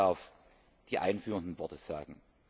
Ich darf die einführenden Worte sagen.